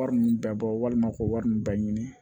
Wari ninnu bɛɛ bɔ walima k'o wari ninnu bɛɛ ɲini